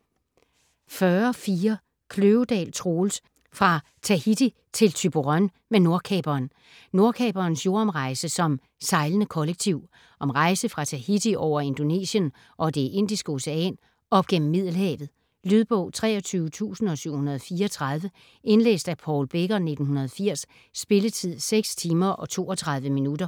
40.4 Kløvedal, Troels: Fra Tahiti til Thyborøn med Nordkaperen Nordkaperens jordomrejse som sejlende kollektiv. Om rejse fra Tahiti over Indonesien og det Indiske Ocean op gennem Middelhavet. Lydbog 23734 Indlæst af Paul Becker, 1980. Spilletid: 6 timer, 32 minutter.